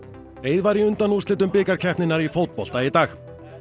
var í undanúrslit bikarkeppninnar í fótbolta í dag